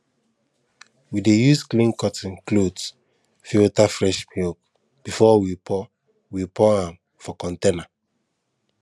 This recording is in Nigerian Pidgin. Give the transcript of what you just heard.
we dey use clean cotton cloth filter fresh milk before we pour we pour am for container